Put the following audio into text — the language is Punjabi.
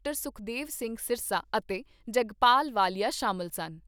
ਸੁਖਦੇਵ ਸਿੰਘ ਸਿਰਸਾ ਅਤੇ ਜਗਪਾਲ ਵਾਲੀਆ ਸ਼ਾਮਲ ਸਨ।